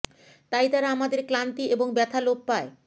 তাই তারা আমাদের ক্লান্তি এবং ব্যথা লোপ পায়